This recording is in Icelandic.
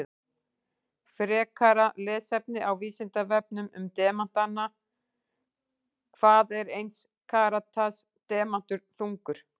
Frekara lesefni á Vísindavefnum um demanta: Hvað er eins karats demantur þungur?